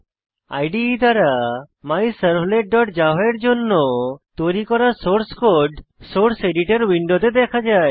ইদে দ্বারা myservletজাভা এর জন্য তৈরী করা সোর্স কোড সোর্স এডিটর উইন্ডোতে দেখা যায়